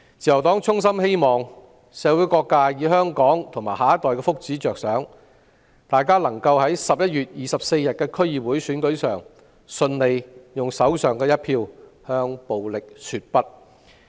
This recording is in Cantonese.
自由黨衷心希望社會各界為香港及下一代的福祉着想，在11月24日的區議會選舉上，用手上一票向暴力說不。